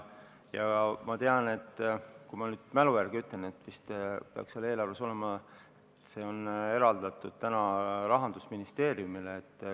Ma mälu järgi ütlen, et vist peaks eelarves olema, et see on eraldatud täna Rahandusministeeriumile ...